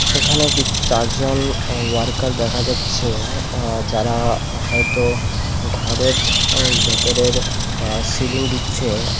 এখানে চারজন উ ওয়ার্কার দেখা যাচ্ছে আ যারা হয়তো ঘরের আ ভেতরের সিলিং দিচ্ছে।